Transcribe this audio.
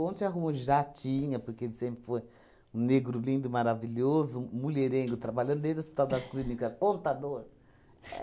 Ontem arrumou já tinha, porque ele sempre foi negro lindo, maravilhoso, mulherengo, trabalha dentro o Hospital das Clínicas, contador. É